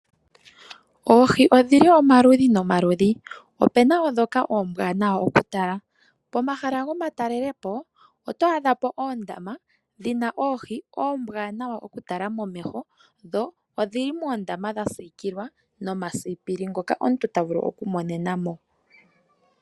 Oohi odhili omaludhi nomaludhi, opena wo dhoka oombwanawa oku tala. Pohala gomatalelepo, oto adha po oondama dhina oohi oombwanawa oku tala momeho, dho odhili moondama dha sikilwa nomasipili ngoka omuntu ta vulu oku monena mo.